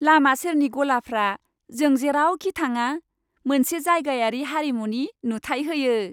लामा सेरनि गलाफ्रा जों जेरावखि थाङा मोनसे जायगायारि हारिमुनि नुथाय होयो।